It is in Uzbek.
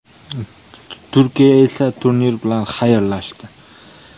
Turkiya esa turnir bilan xayrlashdi.